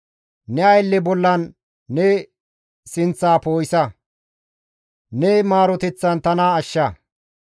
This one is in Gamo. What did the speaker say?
Ne aylleza bolla ne sinththa poo7isa; ne maaroteththan tana ashsha.